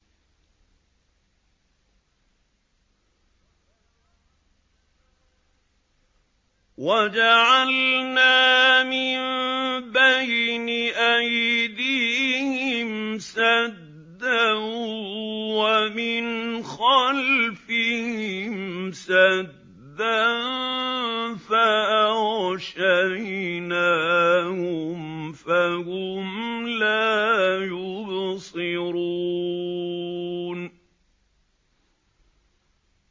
وَجَعَلْنَا مِن بَيْنِ أَيْدِيهِمْ سَدًّا وَمِنْ خَلْفِهِمْ سَدًّا فَأَغْشَيْنَاهُمْ فَهُمْ لَا يُبْصِرُونَ